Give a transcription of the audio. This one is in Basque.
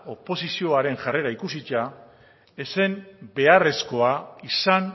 oposizioaren jarrera ikusita ez zen beharrezkoa izan